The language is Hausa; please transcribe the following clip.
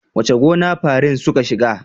Wace gona farin suka shiga?